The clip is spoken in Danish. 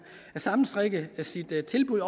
sammenstrikke sit tilbud